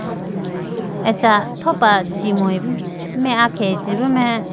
acha thopra chumuyi bo me ah khege chibo mai.